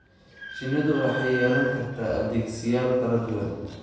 Shinnidu waxay yeelan kartaa adeegsiyaal kala duwan.